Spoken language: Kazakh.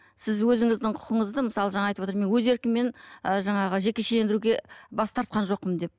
сіз өзіңіздің құқығыңызды мысалы жаңа айтып отыр мен өз еркіммен ы жаңағы жекешелендіруге бас тартқан жоқпын деп